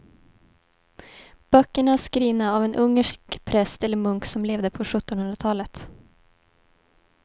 Böckerna är skrivna av en ungersk präst eller munk som levde på sjuttonhundratalet.